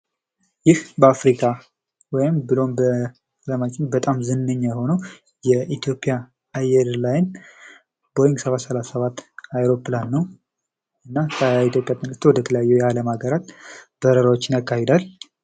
ይህ በአፍሪካ ብሎም በአለም ላይ እጅግ ታዋቂ የሆነው ቦይንግ 33 የኢትዮጵያ አውሮፕላን ሲሆን ከኢትዮጵያ ተነስቶ ወደተለያዪ ቦታቸው ይበራል።